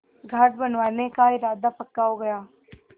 घाट बनवाने का इरादा पक्का हो गया